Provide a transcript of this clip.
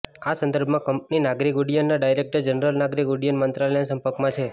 આ સંદર્ભમાં કંપની નાગરિક ઉડ્ડયનના ડાયરેક્ટર જનરલ નાગરિક ઉડ્ડયન મંત્રાલયના સંપર્કમાં છે